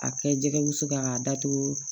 A kɛ jɛgɛ wusu kan k'a datugu